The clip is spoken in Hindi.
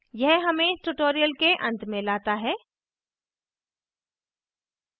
यह हमें tutorial के अंत में लाता है